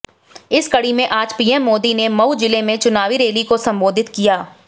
इसी कड़ी में आज पीएम मोदी ने मऊ जिले में चुनावी रैली को संबोधित किया